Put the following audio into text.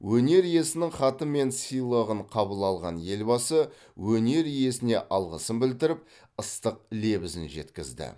өнер иесінің хаты мен сыйлығын қабыл алған елбасы өнер иесіне алғысын білдіріп ыстық лебізін жеткізді